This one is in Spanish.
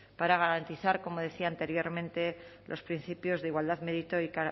para garantizar como decía anteriormente los principios de igualdad mérito y